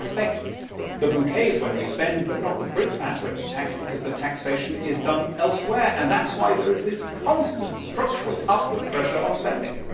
We expect the bouquets when we spend but not the brickbats when we tax because the taxation is done elsewhere and that is why there is this constant structural upward pressure on spending.